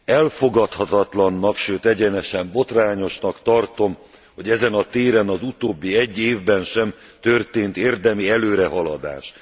Elfogadhatatlannak, sőt egyenesen botrányosnak tartom, hogy ezen a téren az utóbbi egy évben sem történt érdemi előrehaladás.